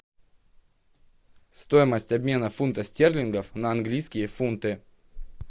стоимость обмена фунта стерлингов на английские фунты